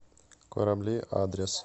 корабли адрес